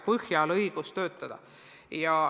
Siis on õigus töötada.